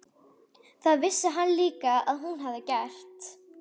Það vissi hann líka að hún hafði gert.